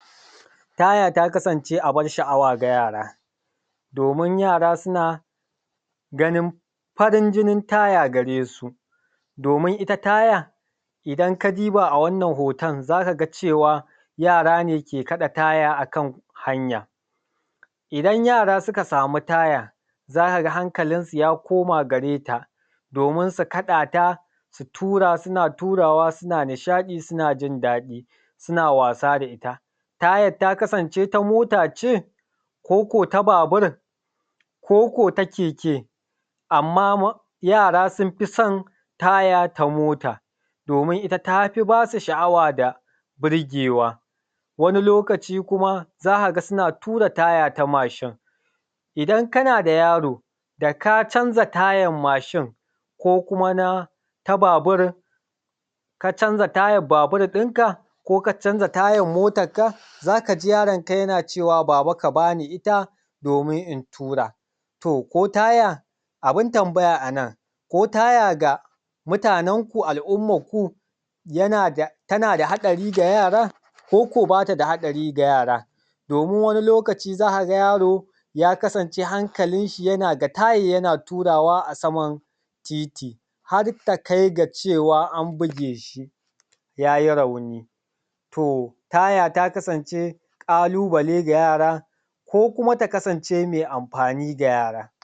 taya ta kasan ce abar sha’awa ga yara domin yara suna ganin farin jinin taya gare su domin itta taya idan ka diba awannan hoton zaka cewa yara ne ke kada taya akan hanya idan yara suka sama taya zakaga hankalin su ya koma gare ta domin su kadaƙ ta su tura suna turawa suna nishadi sunajin dadi suna wasa da itta tayan ta kasan ce ta motace koko ta babur koko ta keke amma yara sunfi son taya ta mota domin tafi basu sha’awa da burgewa wani lokaci kuma zakaga suna tura taya na mashin idan kanada yaro daka canza tayan mashin ko kuma na ta babur daka canza tayan babur dinka ko ka canza tayan motan ka zakaji yaron yana cewa baba ka bani itta domin in tura to ko taya abun tambaya anan koya ga mutanen ku al umman ku tanada hadari ga yara koko batada hadari ga yara domin wani lokaci zakaga yaro ya kasance hankalin shi yana ga tayan yana turawa a saman titi harta kaiga cewa an bugeshi yayi rauni to taya ta kasan ce kalu bale ga yara ko kuma ta kasan ce mai amfani ga yara